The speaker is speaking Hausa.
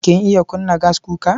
Kin iya kunna gaskuka?